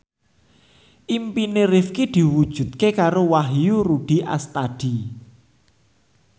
impine Rifqi diwujudke karo Wahyu Rudi Astadi